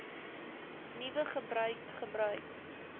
nuwe gebruik gebruik